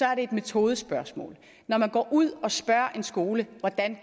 er det et metodespørgsmål når man går ud og spørger en skole hvordan